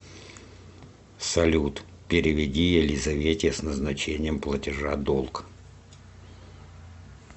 салют переведи елизавете с назначением платежа долг